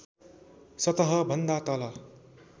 सतह भन्दा तल